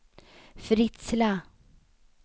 Fritsla